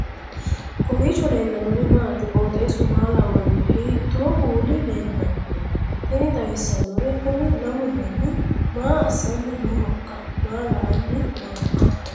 kowiicho leellannori maati ? qooxeessu maa lawaanno ? hiitoo kuuli leellanno ? tini xawissannori kuni lamu manni maa assanni noohoikka maa la'anni nooika